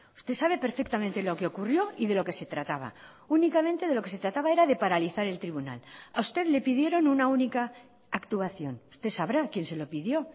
usted sabe perfectamente lo que ocurrió y de lo que se trataba únicamente de lo que se trataba era de paralizar el tribunal a usted le pidieron una única actuación usted sabrá quién se lo pidió